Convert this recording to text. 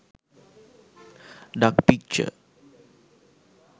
duck picture